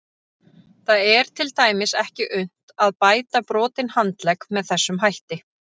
Það er til dæmis ekki unnt að bæta brotinn handlegg með þessum hætti.